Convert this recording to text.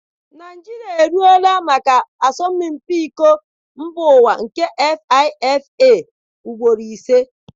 Naịjirịa eruola maka asọmpi Iko Mbaụwa nke FIFA ugboro ise.